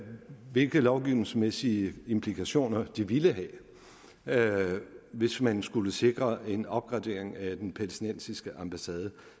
hvilke lovgivningsmæssige implikationer det ville have hvis man skulle sikre en opgradering af den palæstinensiske ambassade